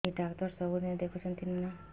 ଏଇ ଡ଼ାକ୍ତର ସବୁଦିନେ ଦେଖୁଛନ୍ତି ନା